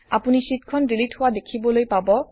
আপুনি শ্বিটখন ডিলিট হোৱা দেখিবলৈ পাব